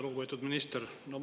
Lugupeetud minister!